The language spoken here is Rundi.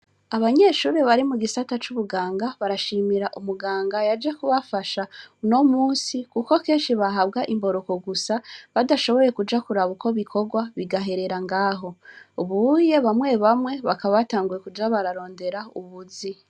Abanyeshure bari mu gisata c'ubuganga, barashimira umuganga yaje kubafasha unomunsi kuko kenshi bahabwa imboroko gusa badashoboye kuja kuraba ukwo bikogwa bigaherera ngaho, ubuhuye bamwe bamwe bakaba batanguye kuja bararondera ubuzu.